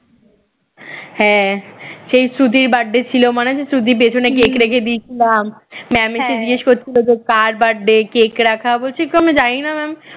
হ্যাঁ সেই শ্রুতির birthday ছিল মনে আছে শ্রুতির পেছনে cake রেখে দিয়েছিলাম mam এসে জিজ্ঞেস করছিল যে কার birthday cake রাখা, বলছি তো আমরা জানিনা mam